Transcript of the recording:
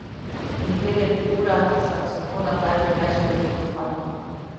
In kjer je pri urah saksofona zdaj že več deklet kot fantov.